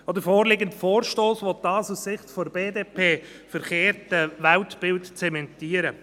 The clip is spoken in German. Auch der vorliegende Vorstoss will dieses, aus Sicht der BDP verkehrte, Weltbild zementieren.